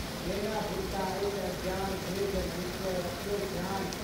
नेनाभुटका अछि अज्ञान, हे जगदीश्वर रखियौ ध्यान।